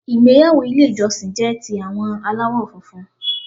Ìgbéyàwó Ilé ìjọsìn jé ti àwọn aláwò funfun